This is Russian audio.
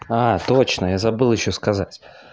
точно я забыл ещё сказать